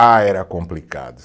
Ah, era complicado.